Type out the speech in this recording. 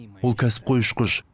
ол кәсіпқой ұшқыш